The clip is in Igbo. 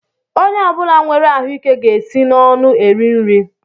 Onye ọbula nwèrè ahụike ga-esi n'ọnụ eri nri.